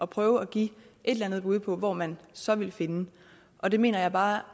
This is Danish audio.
prøve at give et eller andet bud på hvor man så vil finde og det mener jeg bare